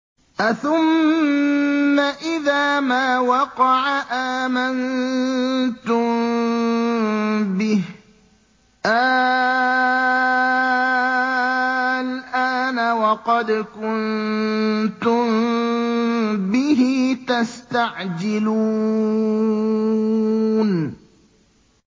أَثُمَّ إِذَا مَا وَقَعَ آمَنتُم بِهِ ۚ آلْآنَ وَقَدْ كُنتُم بِهِ تَسْتَعْجِلُونَ